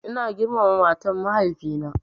Ina girmama matan mahaifi na